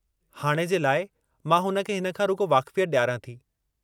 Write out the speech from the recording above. हाणे जे लाइ मां हुन खे हिन खां रुॻो वाक़फ़ियत डि॒यारां थी।